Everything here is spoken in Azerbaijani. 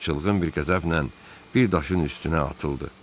O çılğın bir qəzəblə bir daşın üstünə atıldı.